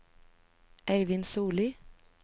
Eivind Solli